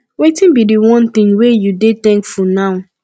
wetin be di one thing wey you dey thankful now